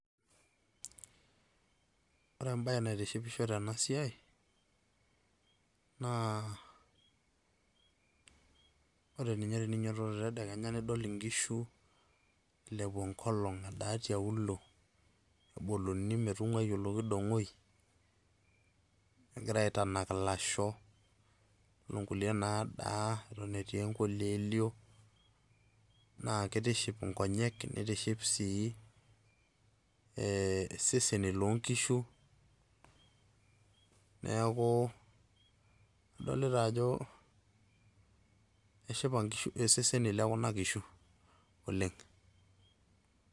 Ore ebae naitishipisho tenasiai, naa ore ninye teninyototo tedekenya nidol inkishu, ilepu enkolong edaa tialuo, neboluni metung'uai olokidong'oi, negira aitanak ilasho, onkulie nadaa eton etii enkoileelio, na kitiship inkonyek, nitiship si iseseni lonkishu. Neeku adolita ajo, eshipa iseseni lekuna kishu oleng'.